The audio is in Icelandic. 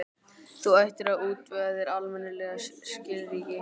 Þú ættir að útvega þér almennileg skilríki.